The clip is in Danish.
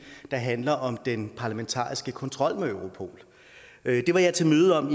der handler om den parlamentariske kontrol med europol det var jeg til møde om